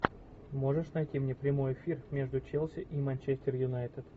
можешь найти мне прямой эфир между челси и манчестер юнайтед